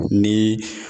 Ni